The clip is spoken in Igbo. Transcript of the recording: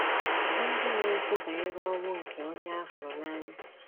bụ́ ndị na - ekwu banyere ọnwụ nke onye a hụrụ n’anya.